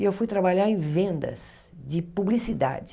E eu fui trabalhar em vendas de publicidade.